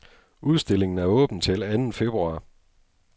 Udstillingen er åben til anden februar.